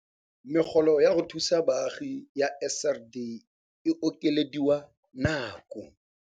Megolo ya go thusa baagi ya SRD e okelediwa nako.